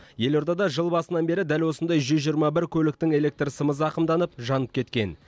елордада жыл басынан бері дәл осындай жүз жиырма бір көліктің электр сымы зақымданып жанып кеткен